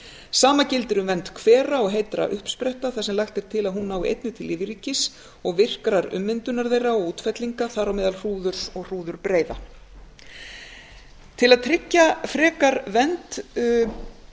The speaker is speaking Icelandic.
sama gildir um vernd hvera og heitra uppspretta þar sem lagt er til að hún nái einnig til lífríkis og virkrar ummyndunar þeirra og útfellinga þar á meðal hrúðurs og hrúðurbreiða til að tryggja frekar vernd samkvæmt